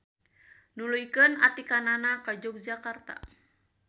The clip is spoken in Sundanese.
Nuluykeun atikanana ka Yogyakarta.